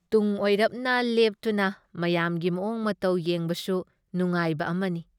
ꯇꯨꯡ ꯑꯣꯏꯔꯞꯅ ꯂꯦꯞꯇꯨꯅ ꯃꯌꯥꯝꯒꯤ ꯃꯑꯣꯡ- ꯃꯇꯧ ꯌꯦꯡꯕꯁꯨ ꯅꯨꯉꯥꯏꯕ ꯑꯃꯅꯤ ꯫